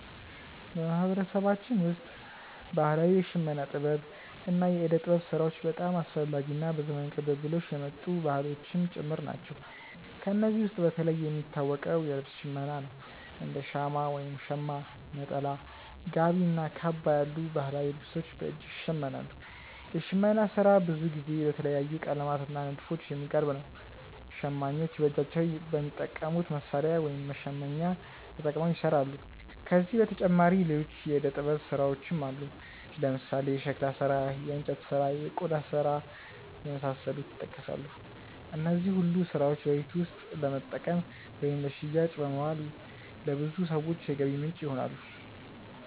በማህበረሰባችን ውስጥ ባህላዊ የሽመና ጥበብ እና የእደ ጥበብ ስራዎች በጣም አስፈላጊ እና በዘመን ቅብብሎሽ የመጡ ባህሎችም ጭምር ናቸው። ከእነዚህ ውስጥ በተለይ የሚታወቀው የልብስ ሽመና ነው፤ እንደ ሻማ (ሸማ)፣ ነጠላ፣ ጋቢ እና ካባ ያሉ ባህላዊ ልብሶች በእጅ ይሸመናሉ። የሽመና ስራ ብዙ ጊዜ በተለያዩ ቀለማት እና ንድፎች የሚቀርብ ነው። ሸማኞች በእጃቸው በሚጠቀሙት መሣሪያ (መሸመኛ)ተጠቅመው ይሰራሉ። ከዚህ በተጨማሪ ሌሎች የእደ ጥበብ ስራዎችም አሉ፦ ለምሳሌ የሸክላ ስራ፣ የእንጨት ስራ፣ እና የቆዳ ስራ የመሳሰሉት ይጠቀሳሉ። እነዚህ ሁሉ ስራዎች በቤት ውስጥ ለመጠቀም ወይም ለሽያጭ በማዋል ለብዙ ሰዎች የገቢ ምንጭ ይሆናሉ።